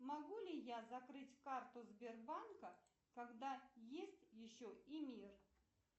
могу ли я закрыть карту сбербанка когда есть еще и мир